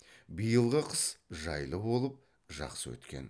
биылғы қыс жайлы боп жақсы өткен